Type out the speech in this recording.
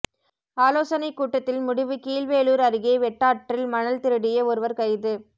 ஆலோசனை கூட்டத்தில் முடிவு கீழ்வேளூர் அருகே வெட்டாற்றில் மணல் திருடிய ஒருவர் கைது